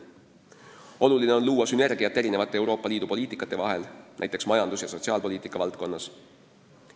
Oluline on luua sünergiat erinevate Euroopa Liidu poliitikasuundade vahel, näiteks majandus- ja sotsiaalpoliitika valdkonnas.